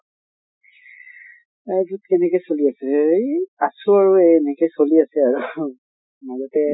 life ত কেনেকে চলি আছে এই আছো আৰু এই এনেকে চলি আছে আৰু মূল